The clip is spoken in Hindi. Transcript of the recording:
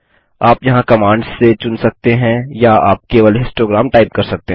आप यहाँ कमांड्स से चुन सकते हैं या आप केवल हिस्टोग्राम टाइप कर सकते हैं